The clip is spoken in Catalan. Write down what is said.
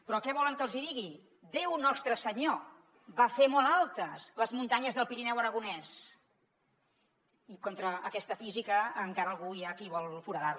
però què volen que els hi digui déu nostre senyor va fer molt altes les muntanyes del pirineu aragonès i contra aquesta física encara algú hi ha qui vol foradar les